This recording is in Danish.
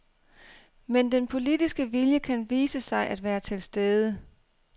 Men den politiske vilje kan vise sig at være til stede.